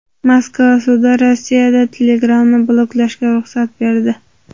Moskva sudi Rossiyada Telegram’ni bloklashga ruxsat berdi .